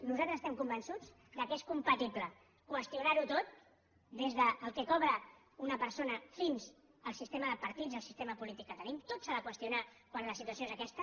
nosaltres estem convençuts que és compatible qüestionar ho tot des del que cobra una persona fins al sistema de partits el sistema polític que tenim tot s’ha de qüestionar quan la situació és aquesta